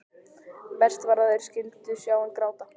Verst var að þeir skyldu sjá hann gráta.